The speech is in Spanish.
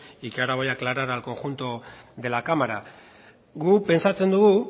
y que ahora voy a aclarar al conjunto de la cámara guk pentsatzen dugu